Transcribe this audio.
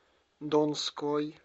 донской